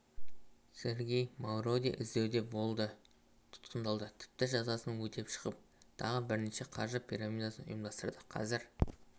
сергей мавроди іздеуде болды тұтқындалды тіпті жазасын өтеп шығып тағы бірнеше қаржы пирамидасын ұйымдастырды қазір